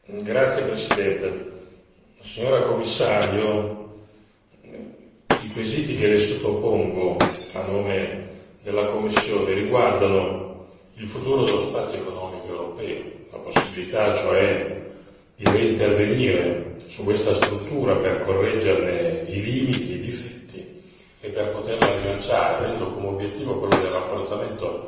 Signora Presidente, onorevoli colleghi, signora Commissario, i quesiti che le sottopongo a nome della commissione riguardano il futuro dello spazio economico europeo, la possibilità, cioè, di reintervenire su questa struttura per correggerne i limiti, i difetti, e per poterla rilanciare avendo come obiettivo quello del rafforzamento